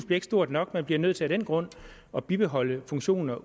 bliver stort nok man bliver nødt til af den grund at bibeholde funktioner